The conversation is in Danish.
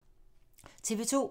TV 2